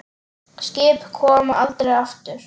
Skip koma aldrei aftur.